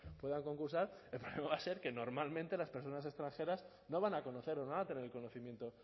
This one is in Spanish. puedan concursar el problema va a ser que normalmente las personas extranjeras no van a conocer o no van a tener el conocimiento